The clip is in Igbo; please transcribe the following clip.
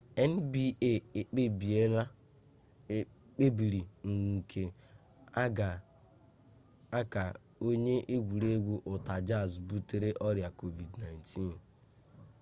nba kpebiri nke a ka onye egwuregwu utah jazz butere ọrịa covid-19